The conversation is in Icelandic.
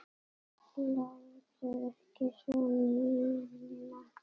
Láttu ekki svona, Nína.